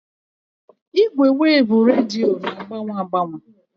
Ìgwè weevu rediyo na-agbanwe agbanwe